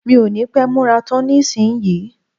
Mi ò ní pẹ́ múra tán nísìnyí